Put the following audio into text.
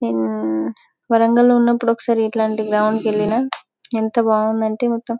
నిన్ వరంగల్ లో ఉన్నప్పుడు ఒకసారి ఇట్లాంటి గ్రౌండ్ కెళ్లిన ఎంత బాగుందంటే మొత్తం--